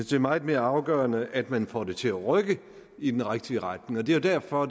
det er meget mere afgørende at man får det til at rykke i den rigtige retning det er derfor